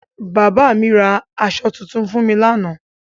Bàbá mi ra aṣọ tuntun fún mi lánàá